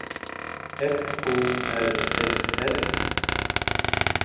F O R S S